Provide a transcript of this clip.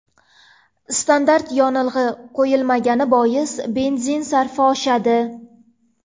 Standart yonilg‘i quyilmagani bois, benzin sarfi oshadi.